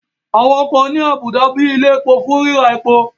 Àwọn ọkọ̀ ní àbùdá bíi ilẹ̀ epo fún ríra epo